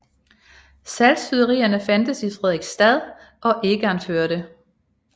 Saltsyderier fandtes i Frederiksstad og Egernførde